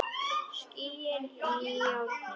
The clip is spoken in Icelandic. Skín í járnið.